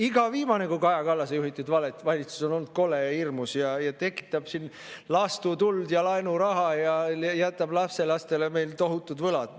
Iga viimane kui Kaja Kallase juhitud valitsus on olnud kole ja hirmus ja tekitab siin laastutuld ja laenuraha ja jätab lapselastele meil tohutud võlad.